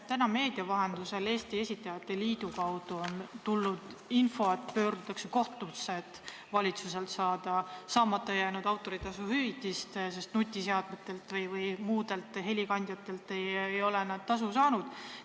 Täna on meedia vahendusel tulnud Eesti Esitajate Liidu kaudu info, et pöördutakse kohtusse, selleks et saada saamata jäänud autoritasu eest valitsuselt hüvitist, sest nutiseadmetes või helikandjatel olevate teoste eest ei ole nad tasu saanud.